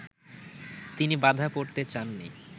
তিনি বাঁধা পড়তে চান নি